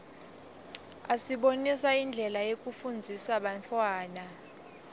asibonisa indlela yekufundzisa bantfwana